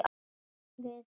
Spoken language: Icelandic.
Bara við tveir?